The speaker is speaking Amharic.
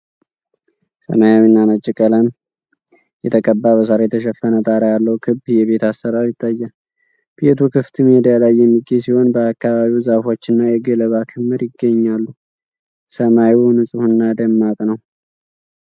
ሰማያዊና ነጭ ቀለም የተቀባ በሳር የተሸፈነ ጣራ ያለው ክብ የቤት አሠራር ይታያል። ቤቱ ክፍት ሜዳ ላይ የሚገኝ ሲሆን በአካባቢው ዛፎች እና የገለባ ክምር ይገኛሉ። ሰማዩ ንፁህና ደማቅ ነው።